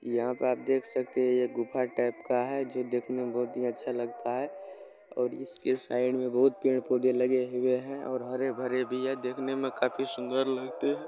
यहां पे आप देख सकते हैं जो गुफा टाइप का है जो देखने में बहुत ही अच्छा लगता है और इसके साइड में बहुत पेड़-पौधे लगे हुए हैं और हरे-भरे भी हैं देखने में काफी सुंदर लगते हैं।